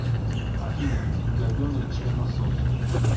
афина говенный членосос